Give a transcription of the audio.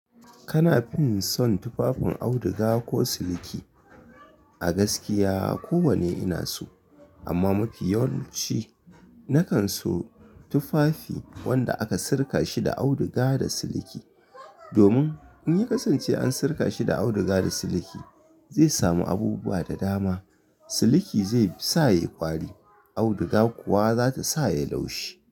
Kana fin son tufafin auduga ko siliki? A gaskiya kowanne ina so amma mafi yawanci nakan so tufafi wanda aka sirka shi da auduga da siliki. Domin in ya kasance an sirka shi da auduga da siliki zai samu abubuwa da dama. Siliki zai sa ya yi kwari, auduga kuwa za ta sa yai laushi.